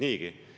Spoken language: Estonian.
Rene Kokk, palun!